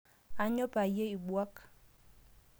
Aanyo payie ibuak